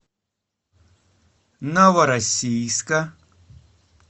новороссийска